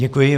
Děkuji.